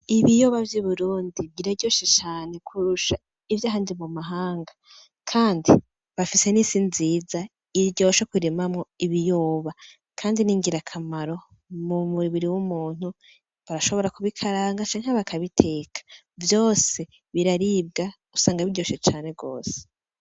Ibiyoba vyi Burundi biraryoshe cane kurusha ivyahandi mu mahanga kandi bafise nisi nziza iryoshe kurimamwo ibiyoba kandi ningira kamaro mu mubiri wu muntu urashobora kubikaranga canke bakabiteka vyose biraribwa usanga biryoshe cane gose.